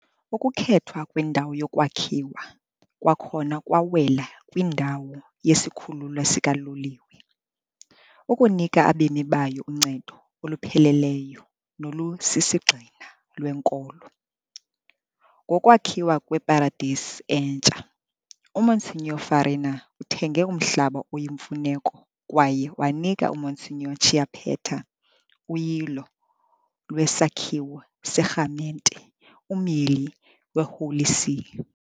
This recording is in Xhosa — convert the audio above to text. Ukukhethwa kwendawo yokwakhiwa kwakhona kwawela kwindawo yesikhululo sikaloliwe, ukunika abemi bayo uncedo olupheleleyo nolusisigxina lwenkolo, ngokwakhiwa kweparadesi entsha. UMonsignor Farina uthenge umhlaba oyimfuneko kwaye wanika uMonsignor Chiappetta uyilo lwesakhiwo serhamente, umyili weHoly See.